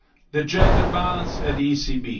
me the gender balance at the ECB.